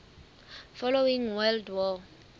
following world war